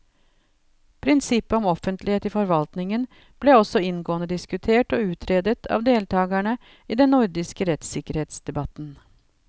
Prinsippet om offentlighet i forvaltningen ble også inngående diskutert og utredet av deltakerne i den nordiske rettssikkerhetsdebatten.